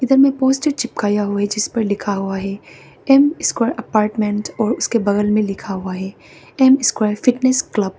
इधर में पोस्टर चिपकाया हुआ है जिस पर लिखा हुआ है एम स्क्वायर अपार्टमेंट और उसके बगल में लिखा हुआ है एम स्क्वायर फिटनेस क्लब ।